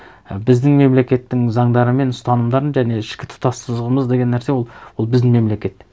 і біздің мемлекеттің заңдары мен ұстанымдарын және ішкі тұтастығымыз деген нәрсе ол біздің мемлекет